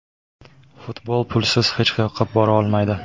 Futbol pulsiz hech qayoqqa bora olmaydi.